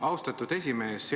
Austatud esimees!